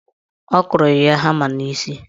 Ọ kụrụ ya hama n'isi.